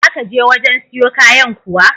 Za ka je wajen siyo kayan kuwa?